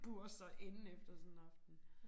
Bure sig inde efter sådan en aften